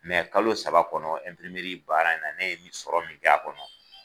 Mɛ kalo saba kɔnɔ ɛnpirimeri baara in na ne ye min sɔrɔ min kɛ a kɔnɔ